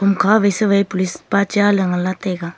akha sa vai police pa cha ley nganla taiga.